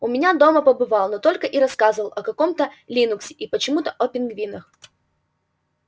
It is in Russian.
у меня дома побывал но только и рассказывал о каком-то линуксе и почему-то о пингвинах